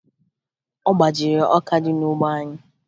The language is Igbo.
Ọ gbajiri ọka dị n'ugbo anyị